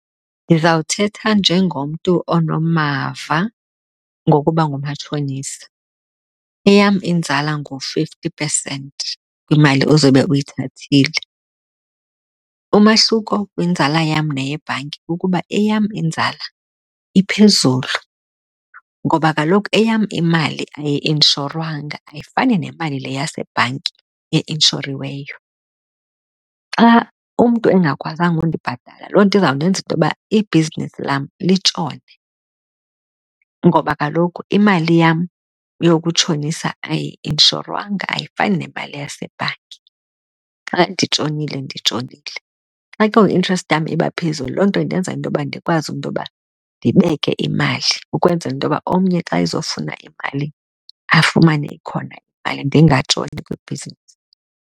Ndizawuthetha njengomntu onamava ngokuba ngumatshonisa. Eyam inzala ngu-fifty percent kwimali ozobe uyithathile. Umahluko kwinzala yam neyebhanki ukuba eyam inzala iphezulu ngoba kaloku eyam imali ayi-inshorwanga, ayifani nemali le yasebhanki einshoriweyo. Xa umntu engakwazanga ukundibhatalela loo nto izawundenza intoba ibhizinisi lam litshone, ngoba kaloku imali yam yokutshonisa ayi-inshorwanga, ayifani nemali yasebhanki. Xa nditshonile, nditshonile. Xa ke ngoku interest yam iba phezulu loo nto indenza intoba ndikwazi intoba ndibeke imali ukwenzela intoba omnye xa ezofuna imali afumane ikhona imali, ndingatshoni kwibhizinisi.